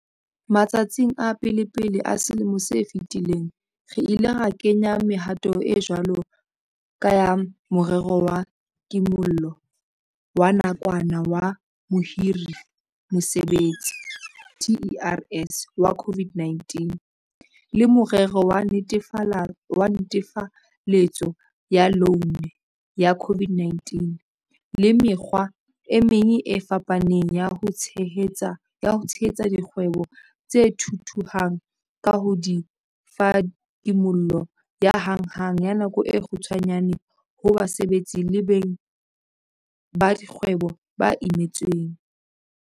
Matsatsing a pelepele a selemo se fetileng, re ile ra kenya mehato e jwalo ka ya Morero wa Kimollo wa Nakwana wa Mohiri-Mosebetsi, TERS, wa COVID-19, le Morero wa Netefaletso ya Loune ya COVID-19 le mekgwa e meng e fapaneng ya ho tshehetsa dikgwebo tse thuthuhang ka ho di fa kimollo ya hanghang ya nako e kgutshwanyane ho basebetsi le beng ba dikgwebo ba imetsweng.